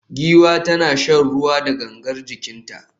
Giwa tana shan ruwa da gangar jikinta